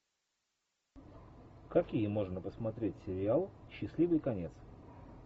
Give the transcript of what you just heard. какие можно посмотреть сериалы счастливый конец